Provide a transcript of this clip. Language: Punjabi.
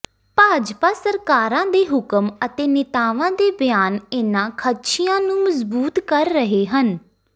ਭਾਜਪਾ ਸਰਕਾਰਾਂ ਦੇ ਹੁਕਮ ਅਤੇ ਨੇਤਾਵਾਂ ਦੇ ਬਿਆਨ ਇਨ੍ਹਾਂ ਖ਼ਦਸ਼ਿਆਂ ਨੂੰ ਮਜ਼ਬੂਤ ਕਰ ਰਹੇ ਹਨ